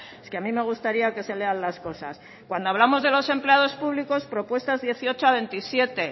es que a mí me gustaría que se lean las cosas cuando hablamos de los empleados públicos propuestas dieciocho a veintisiete